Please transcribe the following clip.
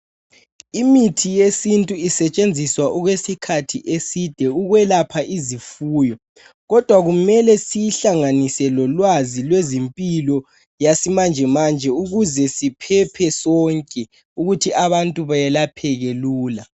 Imithi yesintu isetshenziswa okwesikhathi eside ukwelapha izifuyo. Kodwa kumele siyihlanganise lolwazi lwezempilo yesimanjemanje ukuze siphephe sonke ukuthi abantu bayelapheke lula.